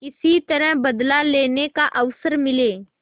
किसी तरह बदला लेने का अवसर मिले